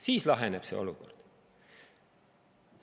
Siis laheneb see olukord.